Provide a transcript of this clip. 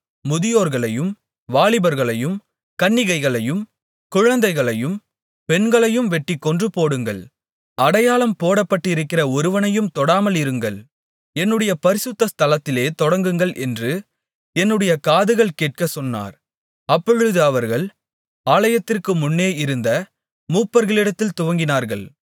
முதியோர்களையும் வாலிபர்களையும் கன்னிகைகளையும் குழந்தைகளையும் பெண்களையும் வெட்டி கொன்றுபோடுங்கள் அடையாளம் போடப்பட்டிருக்கிற ஒருவனையும் தொடாமல் இருங்கள் என்னுடைய பரிசுத்த ஸ்தலத்திலே தொடங்குங்கள் என்று என்னுடைய காதுகள் கேட்கச் சொன்னார் அப்பொழுது அவர்கள் ஆலயத்திற்கு முன்னே இருந்த மூப்பர்களிடத்தில் துவங்கினார்கள்